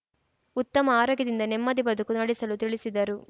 ಉತ್ತಮ ಆರೋಗ್ಯದಿಂದ ನೆಮ್ಮದಿ ಬದುಕು ನಡೆಸಲು ತಿಳಿಸಿದರು